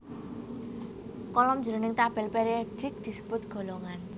Kolom jroning tabèl périodik disebut golongan